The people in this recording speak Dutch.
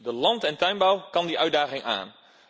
De land en tuinbouw kan die uitdaging aan.